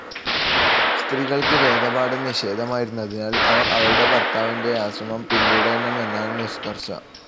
സ്ത്രീകൾക്ക് വേദപാഠം നിഷേധമായിരുന്നതിനാൽ അവർ അവരുടെ ഭർത്താവിൻ്റെ ആശ്രമം പിന്തുടരണം എന്നാണ് നിഷ്കർഷ.